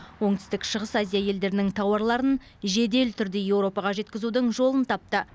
оңтүстік шығыс азия елдерінің тауарларын жедел түрде еуропаға жеткізудің жолын тапты